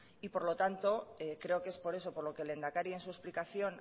y por lo tanto creo que es por eso por lo que el lehendakari en su explicación